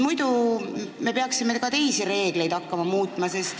Muidu me peaksime ka teisi reegleid hakkama muutma.